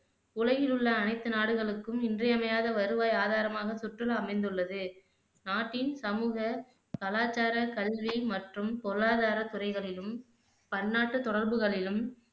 உலகிலுள்ள அனைத்து நாடுகளுக்கும் இன்றியமையாத வருவாய் ஆதாரமாக சுற்றுலா அமைந்தள்ளது நாட்டின் சமூக, கலாச்சார, கல்வி மற்றும் பொருளாதார துறைகளிலும் பன்னாட்டு தொடர்புகளிலும்